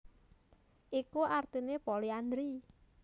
Iku artine poliandri